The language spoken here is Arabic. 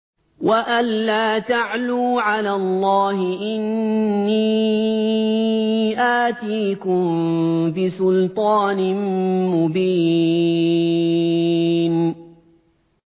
وَأَن لَّا تَعْلُوا عَلَى اللَّهِ ۖ إِنِّي آتِيكُم بِسُلْطَانٍ مُّبِينٍ